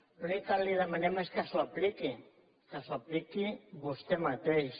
l’únic que li demanem és que s’ho apliqui que s’ho apliqui vostè mateix